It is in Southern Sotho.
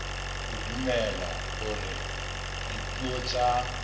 o dumela hore dipuo tsa